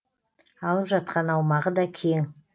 алып жатқан аумағы да кең